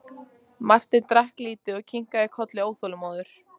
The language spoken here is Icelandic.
Marteinn drakk lítið og kinkaði kolli óþolinmóður.